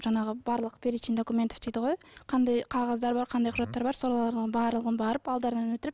жаңағы барлық перечень документов дейді ғой қандай қағаздар бар қандай құжаттар бар солардың барлығын барып алдарынан өтіліп